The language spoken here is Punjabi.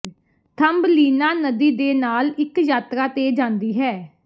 ਥੰਬਲੀਨਾ ਨਦੀ ਦੇ ਨਾਲ ਇੱਕ ਯਾਤਰਾ ਤੇ ਜਾਂਦੀ ਹੈ